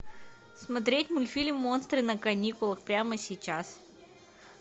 смотреть мультфильм монстры на каникулах прямо сейчас